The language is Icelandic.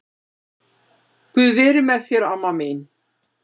Guð veri með þér amma mín.